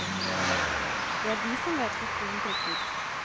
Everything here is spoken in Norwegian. Det er de som vet hvor skoen trykker.